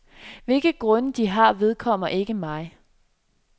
Hvilke grunde, de har, vedkommer ikke mig.